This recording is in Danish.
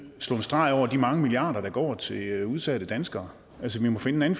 slå en streg over de mange milliarder der går til udsatte danskere altså vi må finde en